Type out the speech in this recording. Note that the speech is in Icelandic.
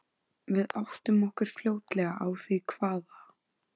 Við áttum okkur fljótlega á því hvaða